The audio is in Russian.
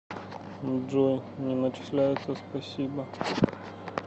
джой не начисляется спасибо